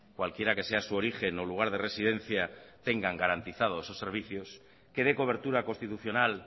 cualquiera que sea su origen o lugar de residencia tengan garantizados esos servicios que dé cobertura constitucional